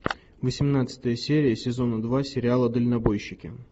восемнадцатая серия сезона два сериала дальнобойщики